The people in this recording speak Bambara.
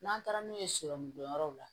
N'an taara n'u ye jɔyɔrɔw la